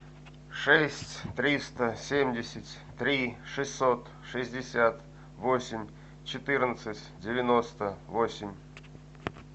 шесть триста семьдесят три шестьсот шестьдесят восемь четырнадцать девяносто восемь